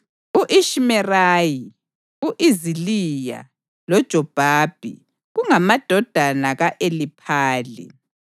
u-Ishimerayi, u-Iziliya, loJobhabhi kungamadodana ka-Eliphali.